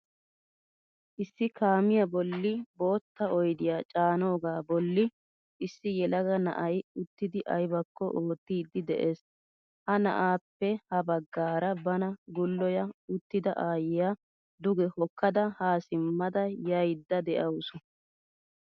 Issi kaamiyaa bolli boottaa oyddiyaa caanoga bolli issi yelaga na'ay uttidi aybako oottiidi de'ees. Ha na'appe ha baggaara bana guloya uttida aayiyaa duge hokkada ha simada yayda deawusu.